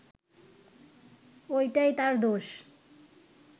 ওইটাই তার দোষ